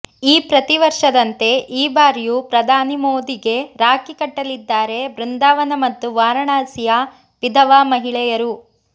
ಈ ಪ್ರತಿವರ್ಷದಂತೆ ಈ ಬಾರಿಯೂ ಪ್ರಧಾನಿ ಮೋದಿಗೆ ರಾಖಿ ಕಟ್ಟಲಿದ್ದಾರೆ ಬೃಂದಾವನ ಮತ್ತು ವಾರಣಾಸಿಯ ವಿಧವಾ ಮಹಿಳೆಯರು